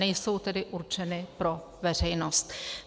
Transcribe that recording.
Nejsou tedy určeny pro veřejnost.